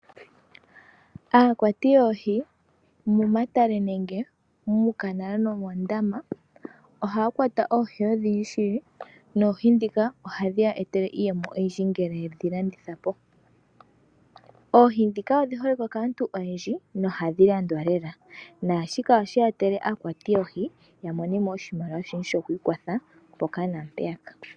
Aakwati yoohi momatale nenge muukanala nomoondama ohaya kwata oohi odhindji shili. Noohi dhika ohadhi ya etele iiyemo oyindji ngele yedhi landitha po. Oohi dhika odhi holike kaantu oyendji nohadhi landwa lela naashika oshe etele aakwati yoohi ya monemo oshimaliwa shoku ikwatha mpoka naa mpeyaka.